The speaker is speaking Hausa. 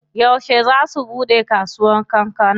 Yauce zaa su buɗe kasuwar kankana?